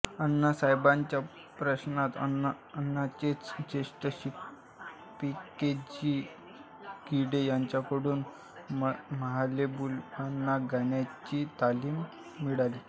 अण्णासाहेबांच्या पश्चात अण्णांचेच ज्येष्ठ शिष्य पं के जी गिंडे यांच्याकडून महालेबुवांना गाण्याची तालीम मिळाली